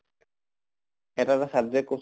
এটা এটা subject কʼ চোন